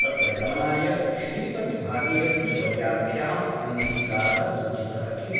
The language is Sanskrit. तत्र गमनाय श्रीपति भागीरथीवर्याभ्याम् अङ्गीकारः सूचितः किम् ?